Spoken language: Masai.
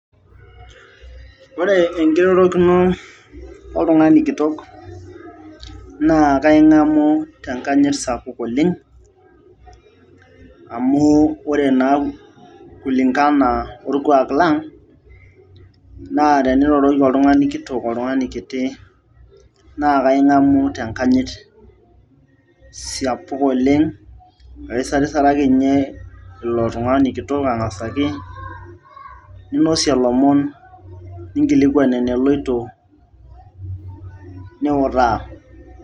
ore enkirorokino oltung'ani kitok naa kaing'amu tenkanyit sapuk oleng amu ore naa kulingana orkuak lang naa teniroroki oltung'ani kitok oltung'ani kiti naa kaing'amu tenkanyit sapuk oleng aisarisaraki ninye ilo tung'ani kitok ang'asaki ninosie ilomon ninkilikuan eneloito niutaa.